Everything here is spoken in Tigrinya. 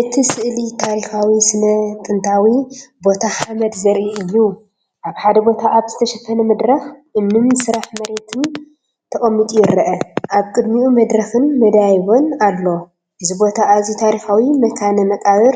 እቲ ስእሊ ታሪኻዊ ስነ-ጥንታዊ ቦታ ሓመድ ዘርኢ እዩ። ኣብ ሓደ ቦታ ኣብ ዝተሸፈነ መድረኽ እምንን ስራሕ መሬትን ተቐሚጡ ይርአ። ኣብ ቅድሚኡ መድረኽን መደያይቦን ኣሎ። እዚ ቦታ ኣዝዩ ታሪኻዊ መካነ መቓብር